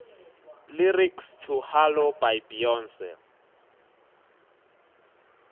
lyrics to halo by beyonce